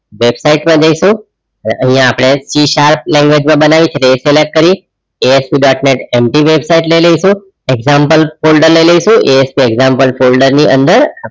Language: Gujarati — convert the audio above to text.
વેબસાઇટ પર જઇસુ ને અપડે આઇયાહ C sharp language બનાઈ ને select કરી ASPdotnet empty વેબસાઇટ લઈ લાઈસુ example ફોલ્ડર લઈ લાઈસુ ASP example ફોલ્ડર ની અંદર